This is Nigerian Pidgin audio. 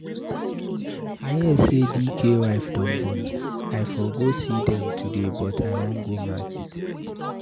I hear say Dike wife don born. I for go see dem today but I wan go market.